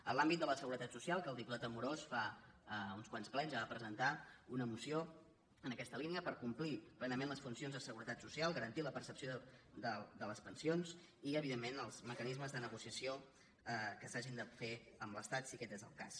en l’àmbit de la seguretat social que el diputat amorós fa uns quants plens ja va presentar una moció en aquesta línia per complir plenament les funcions de seguretat social garantir la percepció de les pensions i evidentment els mecanismes de negociació que s’hagin de fer amb l’estat si aquest és el cas